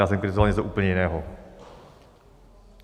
Já jsem kritizoval něco úplně jiného.